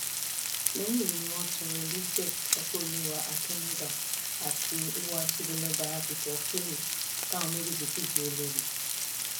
lẹyìn èyí ni wọn tọrọ elizabeth ọpẹọlwà akínmúdà àti olùwàtòbilọba abigail philipps táwọn méjèèjì sì di olór